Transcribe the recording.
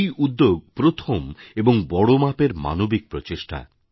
এই উদ্যোগ প্রথম এবং বড় মাপের মানবিক প্রচেষ্টা